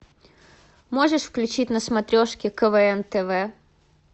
можешь включить на смотрешке квн тв